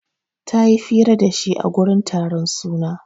Ta yi fira da shi a gurin taron suna.